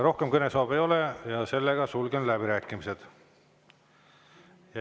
Rohkem kõnesoove ei ole ja sulgen läbirääkimised.